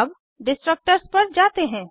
अब डिस्ट्रक्टर्स पर जाते हैं